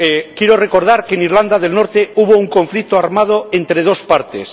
Quiero recordar que en Irlanda del Norte hubo un conflicto armado entre dos partes.